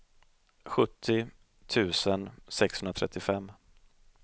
sjuttio tusen sexhundratrettiofem